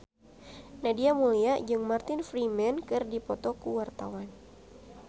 Nadia Mulya jeung Martin Freeman keur dipoto ku wartawan